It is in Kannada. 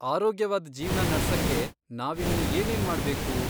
ಆರೋಗ್ಯವಾದ್ ಜೀವ್ನ ನಡ್ಸಕ್ಕೆ ನಾವಿನ್ನೂ ಏನೇನ್ ಮಾಡ್ಬೇಕು?